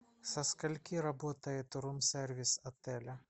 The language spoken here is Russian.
со скольки работает рум сервис отеля